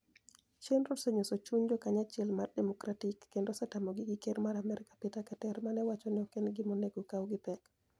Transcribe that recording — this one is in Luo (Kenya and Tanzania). Chenirono oseniyoso chuniy jokaniy achiel mar-Democratic kenido osetamogi gi Ker mar Amerka Peter Keter ma ni e owacho nii ok eni gima oni ego okaw gi pek.